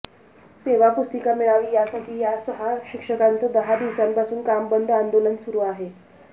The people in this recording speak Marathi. सेवा पुस्तिका मिळावी यासाठी या सहा शिक्षकांचं दहा दिवसांपासून काम बंद आंदोलन सुरु आहे